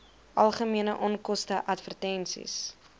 algemene onkoste advertensies